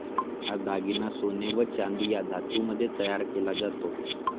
हा दागिना सोने व चांदी या धातूमध्ये तयार केला जातो.